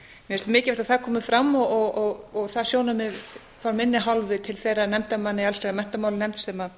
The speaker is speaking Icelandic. finnst mikilvægt að það komi fram og það sjónarmið af minni hálfu til þeirra nefndarmanna í allsherjar og menntamálanefnd sem